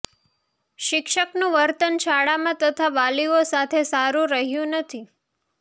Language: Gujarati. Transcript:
શિક્ષકનું વર્તન શાળામાં તથા વાલીઓ સાથે સારું રહ્યું નથી